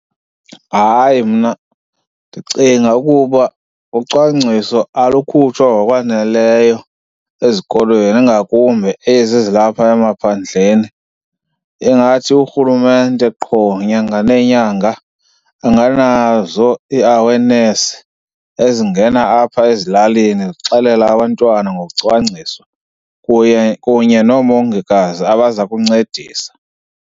Hayi, mna ndicinga ukuba ucwangciso alukhutshwa ngokwaneleyo ezikolweni ingakumbi ezi zilapha emaphandleni. Ingathi urhulumente qho nyanga nenyanga anganazo ii-awareness ezingena apha ezilalini zixelela abantwana ngokucwangciswa, kunye noomongikazi abaza kuncedisa.